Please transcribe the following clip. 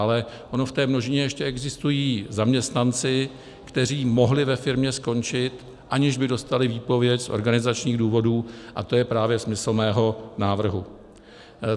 Ale oni v té množině ještě existují zaměstnanci, kteří mohli ve firmě skončit, aniž by dostali výpověď z organizačních důvodů, a to je právě smysl mého návrhu.